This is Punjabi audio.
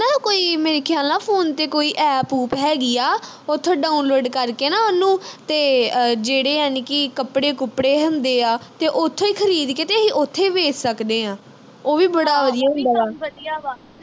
ਕੋਈ ਮੇਰੇ ਖਿਆਲ ਨਾ ਫੋਨ ਤੇ ਕੋਈ APP ਊਪ ਹੈਗੀ ਆ ਉਥੋਂ download ਕਰਕੇ ਨਾ ਉਹਨੂੰ ਤੇ ਅਹ ਜਿਹੜੇ ਜਾਨੀ ਕੀ ਕੱਪੜੇ ਕੁਪੜੇ ਹੁੰਦੇ ਆ ਤੇ ਉਥੋਂ ਈ ਖਰੀਦ ਕੇ ਤੇ ਅਹੀ ਉਥੇ ਈ ਵੇਚ ਸਕਦੇ ਆ ਉਹ ਵੀ ਬੜਾ ਵਧੀਆ ਹੁੰਦਾ ਵਾ